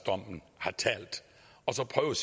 har talt og så prøve